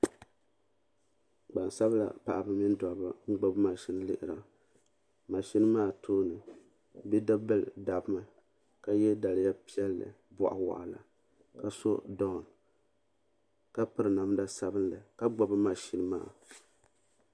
Gbansabla paɣaba mini dabba n gbibi maʒini n lihira maʒini maa tooni bidibila dabmi ka ye daliya piɛlli boɣuwaɣala ka so dɔɔni ka piri namda sabila ka gbibi maʒini maa.